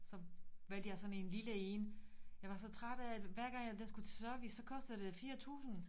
Så valgte jeg sådan en lille én jeg var så træt af at hver gang at den skulle til service så kostede det 4000